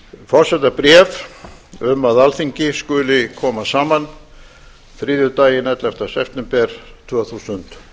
forsetabréf um að alþingi skuli koma saman þriðjudaginn ellefta september tvö þúsund